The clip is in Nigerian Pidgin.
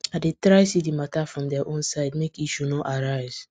i dey try see the matter from their own side make issue no arise